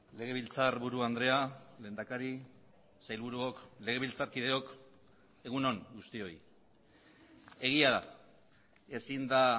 legebiltzarburu andrea lehendakari sailburuok legebiltzarkideok egun on guztioi egia da ezin da